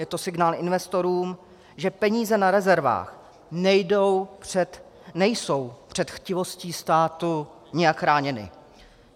Je to signál investorům, že peníze na rezervách nejsou před chtivostí státu nijak chráněny.